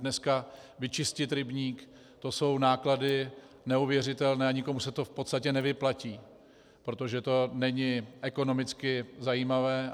Dneska vyčistit rybník, to jsou náklady neuvěřitelné a nikomu se to v podstatě nevyplatí, protože to není ekonomicky zajímavé.